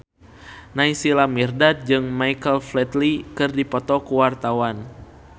Naysila Mirdad jeung Michael Flatley keur dipoto ku wartawan